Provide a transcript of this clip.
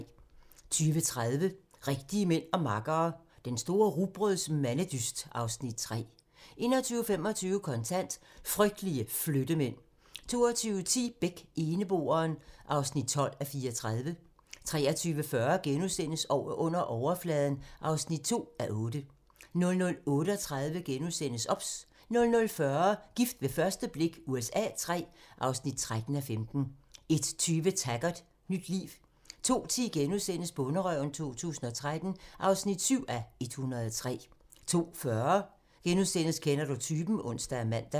20:30: Rigtige mænd og makkere - Den store rugbrøds-mandedyst (Afs. 3) 21:25: Kontant: Frygtelige Flyttemænd 22:10: Beck: Eneboeren (12:34) 23:40: Under overfladen (2:8)* 00:38: OBS * 00:40: Gift ved første blik USA III (13:15) 01:20: Taggart: Nyt liv 02:10: Bonderøven 2013 (7:103)* 02:40: Kender du typen? *(ons og man) 03:20: Timm og gryderne (3:6)*